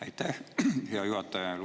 Aitäh, hea juhataja!